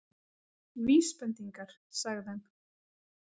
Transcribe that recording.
Vísbendingar- sagði hann.